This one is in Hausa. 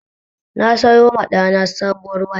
Na sayoma ɗana sabowar waya